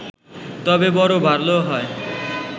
তবে বড় ভালো হয়